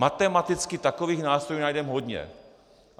Matematicky takových nástrojů najdeme hodně.